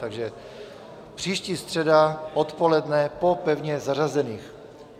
Takže příští středa odpoledne po pevně zařazených.